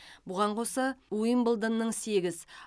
бұған қоса уимблдонның сегіз